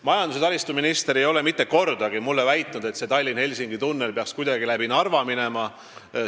Majandus- ja taristuminister ei ole mitte kordagi mulle väitnud, nagu Tallinna–Helsingi tunnel peaks kuidagi läbi Narva hakkama minema.